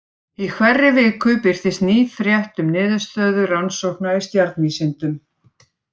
Í hverri viku birtist ný frétt um niðurstöður rannsókna í stjarnvísindum.